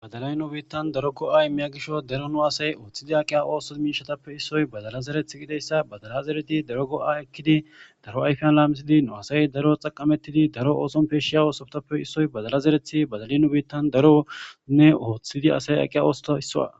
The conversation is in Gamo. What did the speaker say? Badalay nu biitan daro go'a immiya gishaw daro nu asay oothidi aqiya ooso miishatappe issoy badala zerethi gididayssa badala zeridi daro go'a ekidi daro ayfiyan laamisidi mu asay daro xaqametidi daro ooson peyshiya oosotappe isoy badala zerethi badali nu biitan daronne oothidi aqiya oothotappe isuwa.